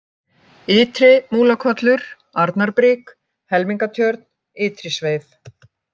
Ytri-Múlakollur, Arnarbrík, Helmingatjörn, Ytri-Sveif